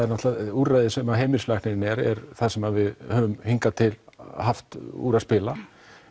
úrræðið sem heimilislæknirinn er það sem við höfum hingað til haft úr að spila